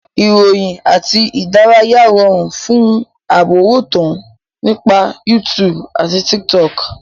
Ìròyìn àti ìdárayá rọrùn fún àrọ́wọ́tọ́ nípa YouTube àti Tiktok